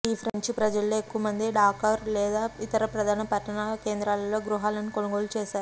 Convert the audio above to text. ఈ ఫ్రెంచి ప్రజలలో ఎక్కువ మంది డాకర్ లేదా ఇతర ప్రధాన పట్టణ కేంద్రాలలో గృహాలను కొనుగోలు చేశారు